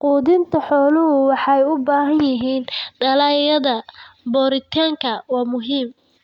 Quudinta xooluhu waxay u baahan yihiin dalagyada borotiinka waa muhiim.